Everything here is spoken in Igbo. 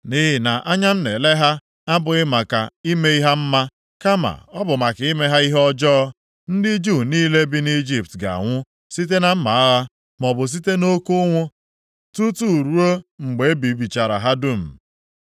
Nʼihi na anya m na-ele ha abụghị maka ime ha mma, kama ọ bụ maka ime ha ihe ọjọọ. Ndị Juu niile bi nʼIjipt ga-anwụ site na mma agha, maọbụ site nʼoke ụnwụ, tutu ruo mgbe e bibichara ha dum.